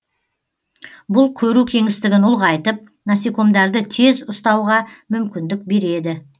бұл көру кеңістігін ұлғайтып насекомдарды тез ұстауға мүмкіндік береді